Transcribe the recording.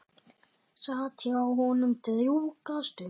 Sat hjá honum drjúga stund.